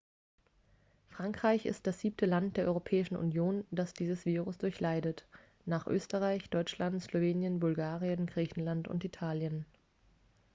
frankreich ist das siebte land der europäischen union das dieses virus durchleidet nach österreich deutschland slowenien bulgarien griechenland und italien